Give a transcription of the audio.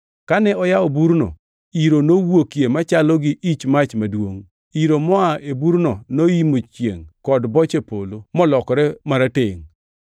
Kane oyawo burno, iro nowuokie machalo gi ich mach maduongʼ. Iro moa e burno noimo chiengʼ kod boche polo molokore maratengʼ.